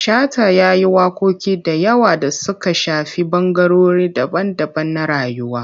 Shata ya yi waƙoƙi da yawa da suka shafi ɓangarori daban-daban na rayuwa.